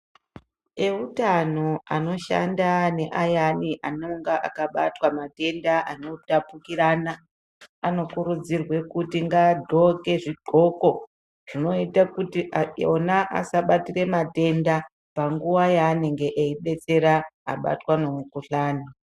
Eutano anoshanda neayani anonga akabatwa matenda anotapukirina anokurudzirwe kuti ngagoke zvigoko zvinoita kuti ona asabatire matenda panguwa yanenge veibetsera vabatwa ngemukuhlani.